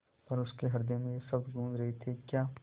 पर उसके हृदय में ये शब्द गूँज रहे थेक्या